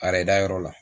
A yɛrɛdayɔrɔ la